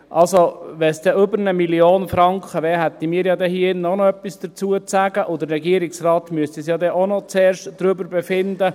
Also, wenn es dann über 1 Mio. Franken wären, hätten wir hier drin auch noch etwas dazu zu sagen, und auch der Regierungsrat müsste dann zuerst noch darüber befinden.